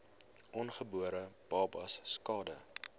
ongebore babas skade